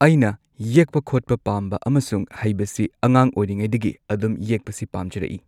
ꯑꯩꯅ ꯌꯦꯛꯄ ꯈꯣꯠꯄ ꯄꯥꯝꯕ ꯑꯃꯁꯨꯡ ꯍꯩꯕꯁꯤ ꯑꯉꯥꯡ ꯑꯣꯏꯔꯤꯉꯩꯗꯒꯤ ꯑꯗꯨꯝ ꯌꯦꯛꯄꯁꯤ ꯄꯥꯝꯖꯔꯛꯏ꯫